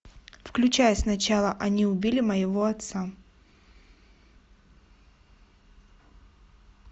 включай сначала они убили моего отца